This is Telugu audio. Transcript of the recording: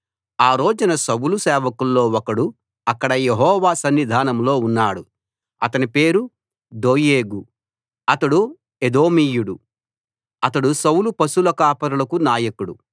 ఆ రోజున సౌలు సేవకుల్లో ఒకడు అక్కడ యెహోవా సన్నిధానంలో ఉన్నాడు అతని పేరు దోయేగు అతడు ఎదోమీయుడు అతడు సౌలు పశుల కాపరులకు నాయకుడు